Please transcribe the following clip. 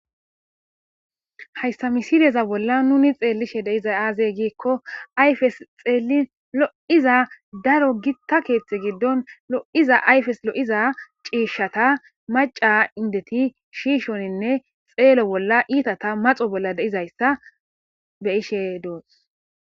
Hayssa misideza bolla nuni xeellishe deiza aaze giikko ayfes xeelin lo'iza daro gitta keethti giddon lo'iza ayfes lo'iza ciishshata maca indeti shiishoninne xeelo bolla iitata maxo bolla deizayssa be ishe doos.